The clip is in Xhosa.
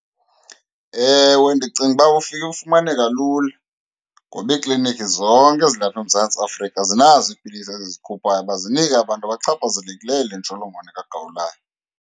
Ewe, ndicinga uba ufike, ufumaneka lula ngoba iikliniki zonke ezilapha eMzantsi Afrika zinazo iipilisi ezizikhuphayo uba zinike abantu abachaphazelekileyo yile ntsholongwane kagawulayo.